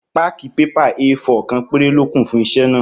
Páákì pépà éefọ̀r kan péré lókù fún isé náà